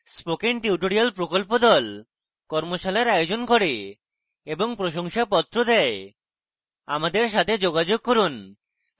spoken tutorial প্রকল্প the কর্মশালার আয়োজন করে এবং প্রশংসাপত্র the আমাদের সাথে যোগাযোগ করুন